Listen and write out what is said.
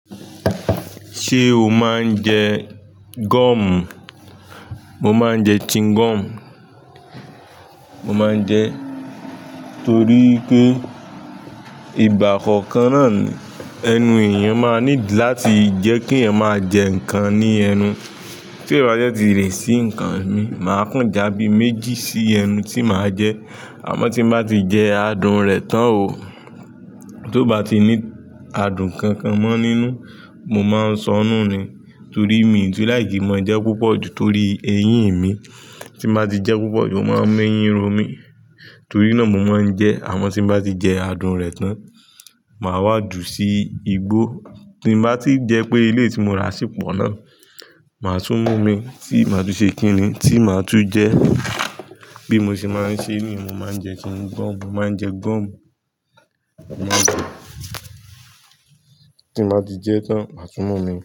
Ṣé o máa ń jẹ gum? Mo máa ń jẹ chewing gum. Mo máa ń jẹ torí pé ìgbà kookan naa ni, ẹnu èèyàn máa need láti jẹ́ kí eeyan máa jẹ nǹkan ní ẹnu. Tí n ba dẹ́ ti rì sí nǹkan mi, màá kán jàbí méjì sí ẹnu tí màá jẹ. Àmọ́ tí n bá ti jẹ adùn rẹ̀ tán o, ti o bá ti ní adùn kankan mọ́ nínú, mo máa ń sọnù ni. Torí mii tun like kin máa jẹ púpọ̀ ju torí eyín mi. Tí n bá ti jẹ púpọ̀ ju, ó máa ń mú eyín ro mí. Torí náà mo máa ń jẹ, àmọ́ tí n bá ti jẹ adùn rẹ̀ tán, màá wá jù sí igbó. Tí n bá ti jẹ pé eleyii tí mo ra sì pọ́ náà, màá tún mú imii tí màá tún ṣe kíni? Tí màá tún jẹ. Bí mo ṣe máa ń ṣe niyen, mo máa ń jẹ chewing gum. Mo máa ń jẹ gum, mo máa ń jẹ. Tí mo bá ti jẹ tán, màá tún mú imii.